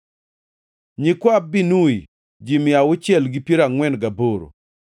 nyikwa Binui, ji mia auchiel gi piero angʼwen gaboro (648),